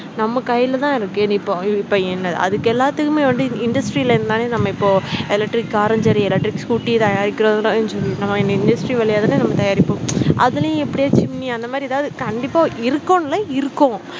நம்ம கையில தான் இருக்கு நீ இப்ப இப்ப என்ன அதுக்கு எல்லாத்துக்குமே வந்து industry ல இது மாதிரி நம்ம இப்போ electric car ம் சரி electric scooter தயாரிக்குறதுலயும் சரி நம்ம இந்த industry வழியா தான நம்ம தயாரிப்போம் அதுலயும் எப்படியோ chimney அந்த மாதிரி எதாவது கண்டிப்பா இருக்கும் இல்ல இருக்கும்